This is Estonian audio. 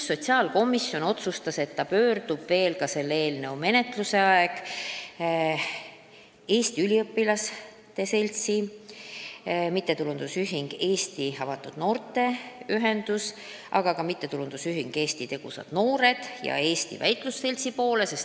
Sotsiaalkomisjon otsustas, et ta pöördub selle eelnõu menetluse ajal veel Eesti Üliõpilaste Seltsi, MTÜ Eesti Avatud Noortekeskuste Ühenduse, MTÜ Tegusad Eesti Noored ja Eesti Väitlusseltsi poole.